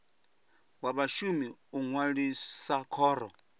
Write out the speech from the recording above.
wa vhashumi u ṅwalisa khoro